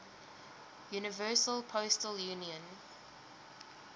universal postal union